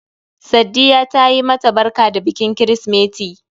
Saddiya tayi ma ta barka da bikin kirsimeti